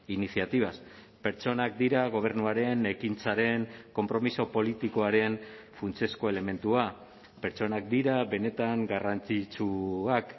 iniciativas pertsonak dira gobernuaren ekintzaren konpromiso politikoaren funtsezko elementua pertsonak dira benetan garrantzitsuak